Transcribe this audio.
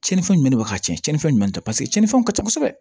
Cɛnnifɛn jumɛn de bɛ ka ci tiɲɛnifɛn ɲuman tɛ paseke cɛninfɛnw ka ca kosɛbɛ